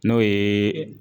N'o yee